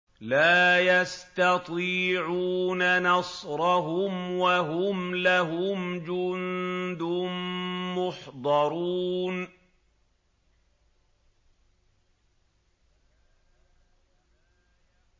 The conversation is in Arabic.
لَا يَسْتَطِيعُونَ نَصْرَهُمْ وَهُمْ لَهُمْ جُندٌ مُّحْضَرُونَ